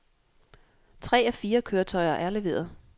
Tre af fire køretøjer er leveret.